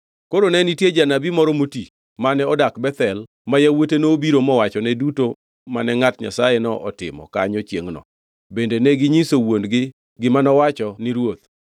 Koro ne nitie janabi moro moti mane odak Bethel ma yawuote nobiro mowachone duto mane ngʼat Nyasayeno otimo kanyo chiengʼno, bende neginyiso wuon-gi gima nowacho ni ruoth.